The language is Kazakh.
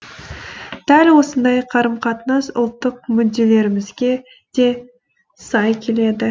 дәл осындай қарым қатынас ұлттық мүдделерімізге де сай келеді